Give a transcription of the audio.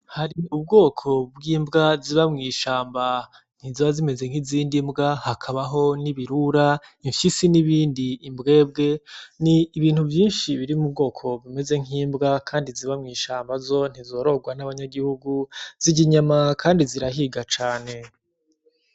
Hari ubgoko bg'imbga ziba mw'ishamba, ntiziba zimeze nk’izindi mbga hakabaho n’ibirura imfyisi n'ibindi, imbgebge. Ni ibintu vyinshi biri mu bgoko bumeze nk'imbga kandi ziba mw'ishamba kandi ntizorogwa nabanyagihugu zirya inyana kandi zirahiga cane .